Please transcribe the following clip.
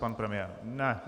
Pan premiér nechce.